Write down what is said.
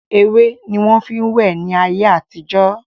Ewé ni wọn fin wẹ ni ayé àtijọ́